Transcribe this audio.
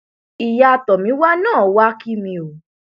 ìyá tomiwa náà wàá kí mi o